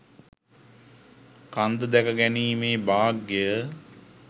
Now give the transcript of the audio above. කන්ද දැක ගැනීමේ භාග්‍යය